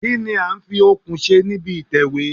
Kí ní a ń fi okùn ṣe níbi ìtẹ̀wẹ́?